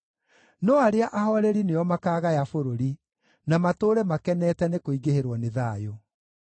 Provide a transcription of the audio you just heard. No arĩa ahooreri nĩo makaagaya bũrũri, na matũũre makenete nĩkũingĩhĩrwo nĩ thayũ.